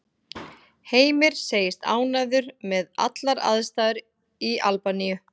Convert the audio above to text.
Heimir segist ánægður með allar aðstæður í Albaníu.